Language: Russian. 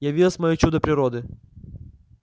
явилось моё чудо природы